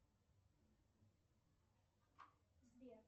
сбер